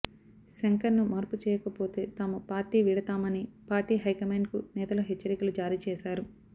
శంకర్ను మార్పు చేయకపోతే తాము పార్టీ వీడుతామని పార్టీ హైకమాండ్ కు నేతలు హెచ్చరికలు జారీ చేశారు